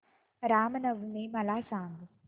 राम नवमी मला सांग